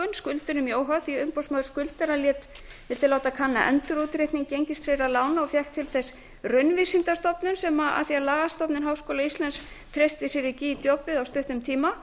skuldurum í óhag því að umboðsmaður skuldara vildi láta kanna endurútreikning gengistryggðra lána og fékk til þess raunvísindastofnun af því að lagastofnun háskóla íslands treysti sér ekki í djobbið á stuttum tíma